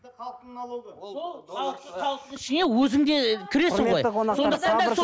халықтың налогы ол сол халық халықтың ішіне өзің де кіресің ғой